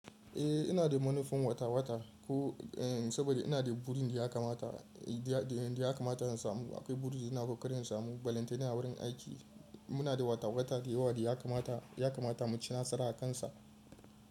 Eh ina da manufan wata-wata koh saboda ina da burin da ya kamata in samu. Akwai buri da nake kokarin samu. Balantana a wurin aiki muna da wata-wata da yawa da ya kamata mu ci nasara akansa.